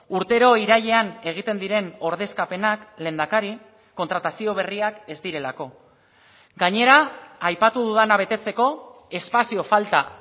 urtero irailean egiten diren ordezkapenak lehendakari kontratazio berriak ez direlako gainera aipatu dudana betetzeko espazio falta